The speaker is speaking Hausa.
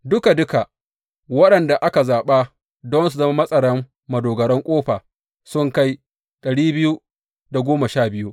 Duka duka, waɗanda aka zaɓa don su zama matsaran madogaran ƙofa sun kai